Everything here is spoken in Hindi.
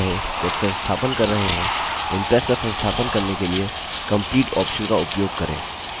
याद रहे जब संस्थापन कर रहे हों impress का संस्थापन करने के लिए complete option का उपयोग करें